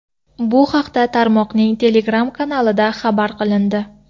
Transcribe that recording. Bu haqda tarmoqning Telegram kanalida xabar qilindi .